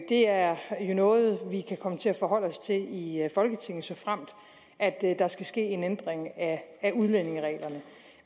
det er noget vi kan komme til at forholde os til i folketinget såfremt der skal ske en ændring af udlændingereglerne